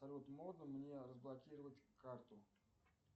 салют можно мне разблокировать карту